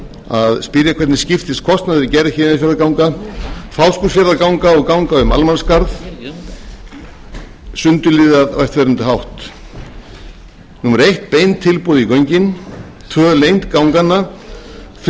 að spyrja hvernig skiptist kostnaður við gerð kostnaður við gerð héðinsfjarðarganga fáskrúðsfjarðarganga og ganga um almannaskarð sundurliðað á eftirfarandi hátt númer fyrstu bein tilboð í göngin númer önnur lengd ganganna númer þriðja